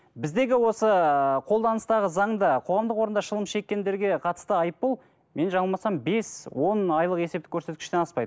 біздегі осы қолданыстағы заңда қоғамдық орында шылым шеккендерге қатысты айыппұл мен жаңылмасам бес он айлық есептік көрсеткіштен аспайды